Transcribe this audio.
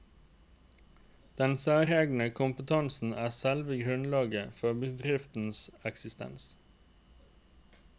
Den særegne kompetansen er selve grunnlaget for bedriftens eksistens.